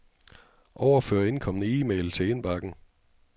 Overfør indkomne e-mail til indbakken.